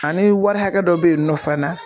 Ani wari hakɛ dɔ bɛ yen nɔ fana.